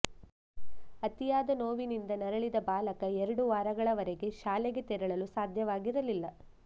ಅತಿಯಾದ ನೋವಿನಿಂದ ನರಳಿದ ಬಾಲಕ ಎರಡು ವಾರಗಳವರೆಗೆ ಶಾಲೆಗೆ ತೆರಳಲು ಸಾಧ್ಯವಾಗಿರಲಿಲ್ಲ